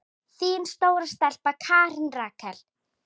Þín stóra stelpa, Karen Rakel.